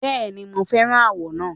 Bẹ́ẹ̀ni, mo fẹ́ràn àwọ̀ náà.